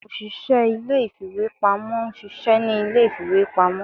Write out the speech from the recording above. ọsise ilé ìfíwepámọ n ṣiṣẹ ni ilé ìfíwepámọ